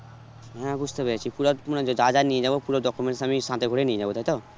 হ্যাঁ বুঝতে পেরেছি যা যা নিয়ে যাবো পুরো documents আমি সাথে করে নিয়ে যাবো তাই তো?